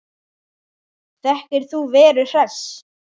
Þekkir þú Veru Hress?